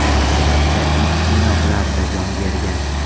Oqibatda it qiynoqlarda jon bergan.